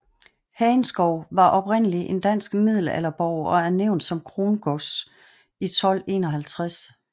Hagenskov var oprindeligt en dansk middelalderborg og er nævnt som krongods i 1251